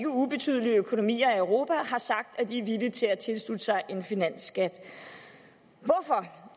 ubetydelige økonomier i europa har sagt at de er villige til at tilslutte sig en finansskat hvorfor